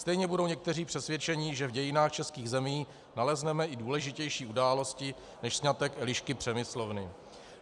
Stejně budou někteří přesvědčeni, že v dějinách českých zemí nalezneme i důležitější události než sňatek Elišky Přemyslovny.